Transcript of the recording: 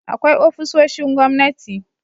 Akwai ofisoshin gwamnati